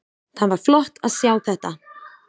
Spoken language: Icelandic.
Það var flott að sjá þetta.